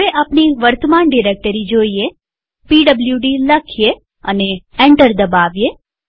હવે આપણી વર્તમાન ડિરેક્ટરી જોઈએpwd લખીએ અને એન્ટર દબાવીએ